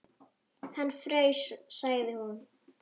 Hann fraus, sagði hún.